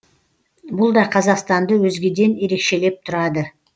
бұл да қазақстанды өзгеден ерекшелеп тұрады